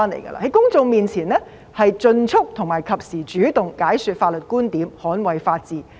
在公眾面前應盡速並及時主動解說法律觀點，捍衞法治。